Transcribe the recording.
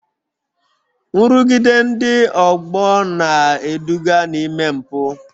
Nrụgide ndị ọgbọ na-eduga n'ime mpụ